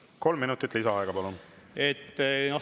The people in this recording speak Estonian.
Kolm minutit lisaaega, palun!